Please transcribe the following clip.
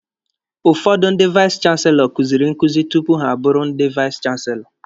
Ụfọdụ ndị vais chanselọ kuziri nkuzi tupu ha abụrụ ndị vais chanselọ